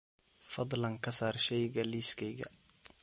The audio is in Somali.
Fadlan ka saar shayga liiskayga